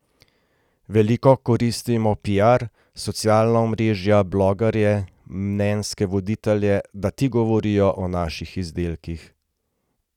Veliko koristimo piar, socialna omrežja, blogerje, mnenjske voditelje, da ti govorijo o naših izdelkih.